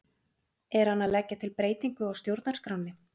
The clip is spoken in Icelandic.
Er hann að leggja til breytingu á stjórnarskránni?